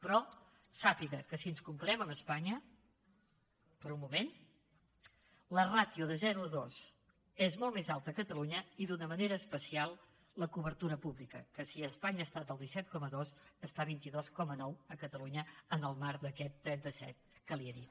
però sàpiga que si ens comparem amb espanya per un moment la ràtio de zero a dos és molt més alta a catalunya i d’una manera especial la cobertura pública que si a espanya ha estat el disset coma dos està a vint dos coma nou a catalunya en el marc d’aquest trenta set que li he dit